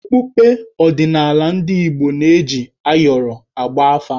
Okpukpe odịnala ndị Igbo na-eji ayọrọ agba afà.